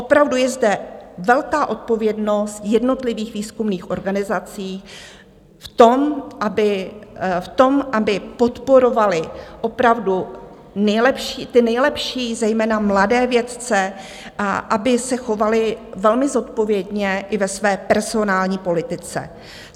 Opravdu je zde velká odpovědnost jednotlivých výzkumných organizací v tom, aby podporovaly opravdu ty nejlepší, zejména mladé vědce, a aby se chovaly velmi zodpovědně i ve své personální politice.